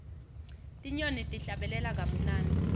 tinyoni tihlabelela kamunandzi